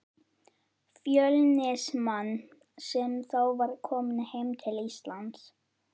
Fjölnismann, sem þá var kominn heim til Íslands.